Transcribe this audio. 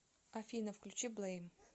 афина включи блейм